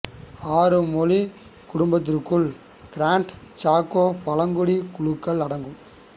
ஆறு மொழி குடும்பத்திற்குள் கிராண்ட் சாக்கோ பழங்குடி குழுக்கள் அடங்கும்